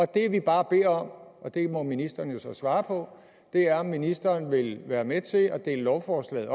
det vi bare beder om og det må ministeren jo så svare på er om ministeren vil være med til at dele lovforslaget